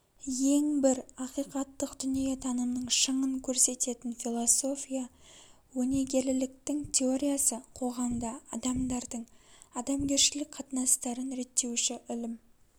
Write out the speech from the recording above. ең бір ақиқаттық дүниетанымның шыңын көрсететін философия өнегеліліктің теориясы қоғамда адамдардың адамгершілік қатынастарын реттеуші ілім